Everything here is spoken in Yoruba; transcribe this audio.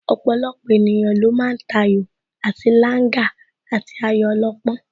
Ọ̀pọ̀lọpọ̀ ènìyàn ló ma ń tayò àti Langa àti ayò ọlọ́pọ́n